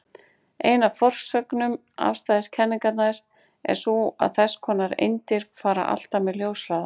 Ein af forsögnum afstæðiskenningarinnar er sú að þess konar eindir fara alltaf með ljóshraða.